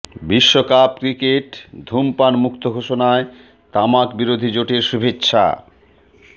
বিশ্বকাপ ক্রিকেট ধূমপান মুক্ত ঘোষণায় তামাক বিরোধী জোটের শুভেচ্ছা